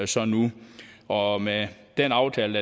så nu og med den aftale